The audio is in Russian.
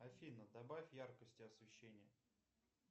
афина добавь яркости освещения